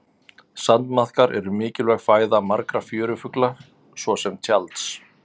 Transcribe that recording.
Sandmaðkar eru mikilvæg fæða margra fjörufugla svo sem tjalds.